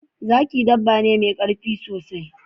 Zaki dabba ne mai karfi sosai